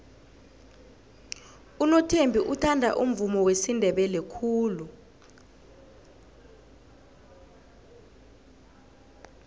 unothembi uthanda umvumo wesindebele khulu